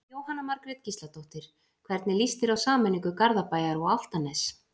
Jóhanna Margrét Gísladóttir: Hvernig lýst þér á sameiningu Garðabæjar og Álftanes?